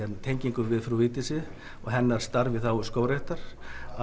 tengingu við frú Vigdísi og hennar starf í þágu skógræktar